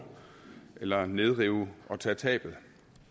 eller nedrive og tage tabet